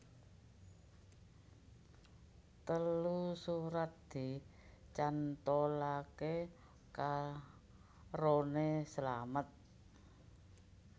Telu surat dicantolake karone slamet